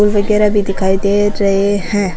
फूल वगेरा भी दिखाई दे रहे है।